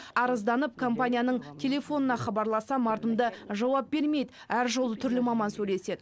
арызданып компанияның телефонына хабарлассам мардымды жауап бермейді әр жолы түрлі маман сөйлеседі